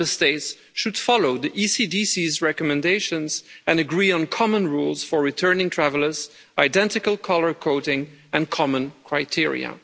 Member States should follow the ECDC's recommendations and agree on common rules for returning travellers, identical colour coding and common criteria.